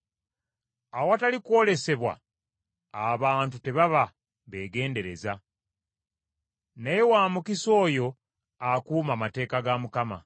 Awatali kwolesebwa abantu tebaba beegendereza, naye wa mukisa oyo akuuma amateeka ga Mukama .